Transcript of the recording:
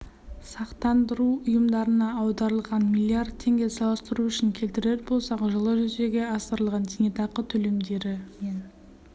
сақтандыру ұйымдарына аударылғаны млрд теңге салыстыру үшін келтірер болсақ жылы жүзеге асырылған зейнетақы төлемдері мен